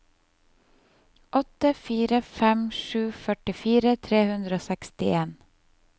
åtte fire fem sju førtifire tre hundre og sekstien